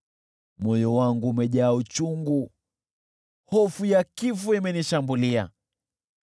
Moyo wangu umejaa uchungu, hofu ya kifo imenishambulia.